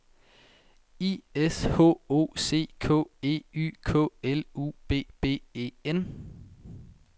I S H O C K E Y K L U B B E N